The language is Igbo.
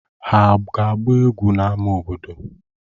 Ha ga-agba egwu n'ámá obodo?